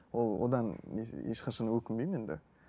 ол одан ешқашан өкінбеймін енді